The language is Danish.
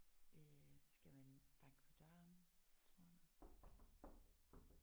Øh skal man banke på døren tror du?